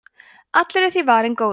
allur er því varinn góður